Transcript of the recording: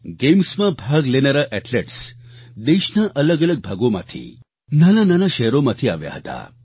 ગેમ્સમાં ભાગ લેનારા એથ્લેટ્સ દેશના અલગઅલગ ભાગોમાંથી નાનાનાનાં શહેરોમાંથી આવ્યા હતા